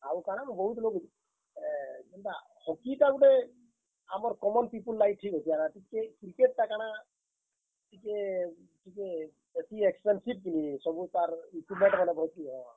ଆଉ କାଣା ବହୁତ୍ ଲୋକ, ଏ ଯେନ୍ ତା Hockey ଟା ଗୁଟେ, ଆମର୍ common people ଲାଗି ଠିକ୍ ଅଛେ। ଆର୍ ଟିକେ Cricket ଟା କାଣା, ଟିକେ, ଟିକେ ବେଶୀ expensive କିନି ସବୁ ତାର୍ equipment ମାନେ ବାକି ହଁ।